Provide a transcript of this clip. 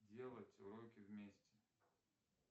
делать уроки вместе